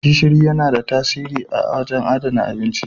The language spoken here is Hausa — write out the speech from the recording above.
Gishiri yana da tasiri wajen adana abinci.